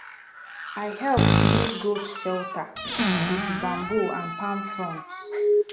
i help build goat shelter with bamboo and palm fronds